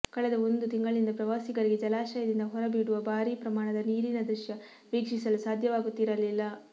ಕಳೆದ ಒಂದು ತಿಂಗಳಿನಿಂದ ಪ್ರವಾಸಿಗರಿಗೆ ಜಲಾಶಯದಿಂದ ಹೊರಬಿಡುವ ಭಾರೀ ಪ್ರಮಾಣದ ನೀರಿನ ದೃಶ್ಯ ವೀಕ್ಷಿಸಲು ಸಾಧ್ಯವಾಗುತ್ತಿರಲಿಲ್ಲ